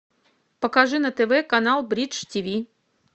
покажи на тв канал бридж тв